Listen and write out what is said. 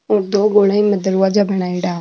दो गोलाई में दरवाजा बनायडा।